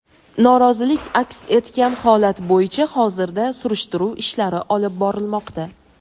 norozilik aks etgan holat bo‘yicha hozirda surishtiruv ishlari olib borilmoqda.